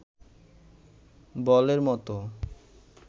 বলের মতো